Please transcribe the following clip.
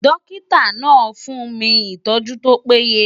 Dọ́kítà náà fún mi ìtọ́jú tó péye.